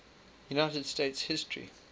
united states history